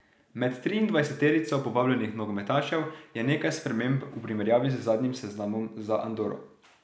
Med triindvajseterico povabljenih nogometašev je nekaj sprememb v primerjavi z zadnjim seznamom za Andoro.